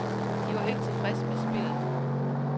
De var ikke tilfredse med spillet.